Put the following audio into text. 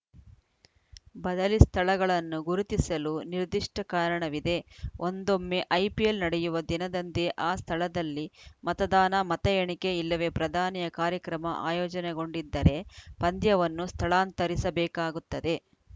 ಬದಲಿ ಸ್ಥಳಗಳನ್ನು ಗುರುತಿಸಲು ನಿರ್ದಿಷ್ಟಕಾರಣವಿದೆ ಒಂದೊಮ್ಮೆ ಐಪಿಎಲ್‌ ನಡೆಯುವ ದಿನದಂದೇ ಆ ಸ್ಥಳದಲ್ಲಿ ಮತದಾನ ಮತ ಎಣಿಕೆ ಇಲ್ಲವೇ ಪ್ರಧಾನಿಯ ಕಾರ್ಯಕ್ರಮ ಆಯೋಜನೆಗೊಂಡಿದ್ದರೆ ಪಂದ್ಯವನ್ನು ಸ್ಥಳಾಂತರಿಸಬೇಕಾಗುತ್ತದೆ